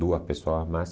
Duas pessoas a mais.